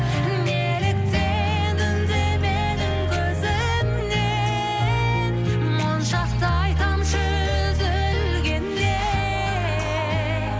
неліктен үндемедің көзімнен моншақтай тамшы үзілгенде